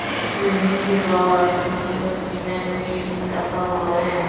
एक बिल्डिंग के बाहर गिटी और सीमेंट भी रखा हुआ है।